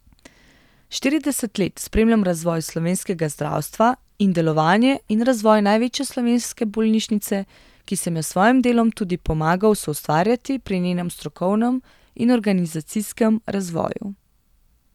Štirideset let spremljam razvoj slovenskega zdravstva in delovanje in razvoj največje slovenske bolnišnice, ki sem jo s svojim delom tudi pomagal soustvarjati pri njenem strokovnem in organizacijskem razvoju.